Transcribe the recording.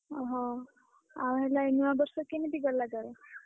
ଓହୋ ଆଉ ହେଲା ଏ ନୂଆ ବର୍ଷ କେମିତି ଗଲା ତୋର?